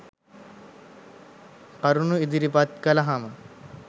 කරුණු ඉදිරිපත් කළහම